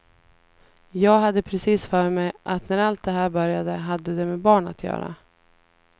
Jag hade precis för mig att när allt det här började hade det med barn att göra.